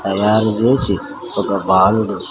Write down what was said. తయారు చేసి ఒక బాలుడు--